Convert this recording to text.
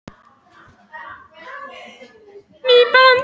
Þar kynnti Jón Ásbjarnarson nýja lagaboðið.